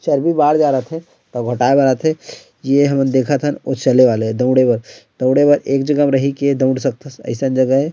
चर्बी बाढ़ जाए रथे टी घटाए बर आथे ये हमन देखत हन ओ चले वाला ऐ दौड़े वाला दौड़े बर एक जगह रही के दऊड़ सकथस --